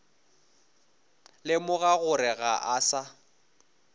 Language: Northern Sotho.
lemoga gore ga a sa